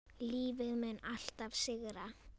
Lífið mun alltaf sigra.